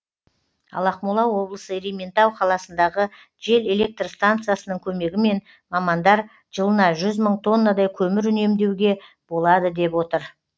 ал ақмола облысы ерейментау қаласындағы жел электр станциясының көмегімен мамандар жылына жүз мың тоннадай көмір үнемдеуге болады деп отыр